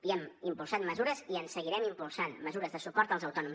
i hem impulsat mesures i en seguirem impulsant mesures de suport als autònoms